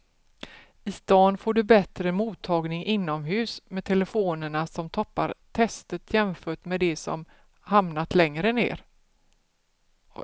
I stan får du bättre mottagning inomhus med telefonerna som toppar testet jämfört med de som hamnat längre ner.